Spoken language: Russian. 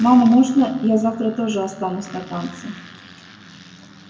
мама можно я завтра тоже останусь на танцы